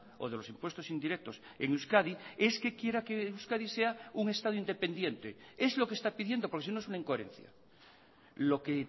o de los impuestos indirectos en euskadi es que quiera que euskadi sea un estado independiente es lo que está pidiendo porque sino es una incoherencia lo que